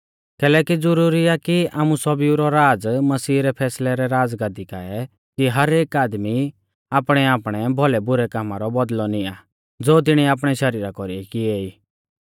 कैलैकि ज़ुरुरी आ कि आमु सौभीऊ रौ राज़ मसीह रै फैसलै रै राज़गादी काऐ खुला कि हर एक आदमी आपणैआपणै भौलै बुरै कामा रौ बौदल़ौ निआं ज़ो तिणिऐ आपणै शरीरा कौरीऐ किएई